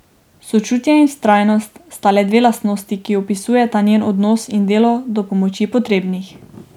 Sočutje in vztrajnost sta le dve lastnosti, ki opisujeta njen odnos in delo do pomoči potrebnih.